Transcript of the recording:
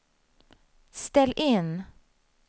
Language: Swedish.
ställ in